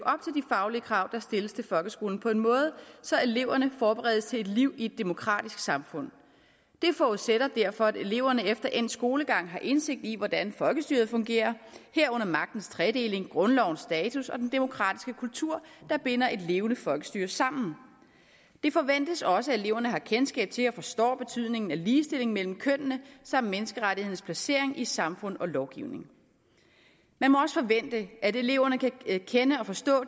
faglige krav der stilles til folkeskolen på en måde så eleverne forberedes til et liv i et demokratisk samfund det forudsætter derfor at eleverne efter endt skolegang har indsigt i hvordan folkestyret fungerer herunder magtens tredeling grundlovens status og den demokratiske kultur der binder et levende folkestyre sammen det forventes også at eleverne har kendskab til og forstår betydningen af ligestilling mellem kønnene samt menneskerettighedernes placering i samfund og lovgivning man må også forvente at eleverne kan kende og forstå